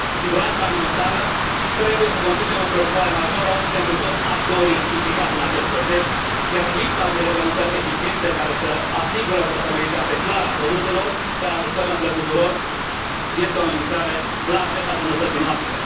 Siguranța alimentară trebuie să constituie o preocupare majoră pentru toți actorii implicați în acest proces, iar lipsa unei reglementări eficiente care să asigure o trasabilitate clară a produselor care ajung pe mesele tuturor, este o amenințare la adresa sănătății noastre.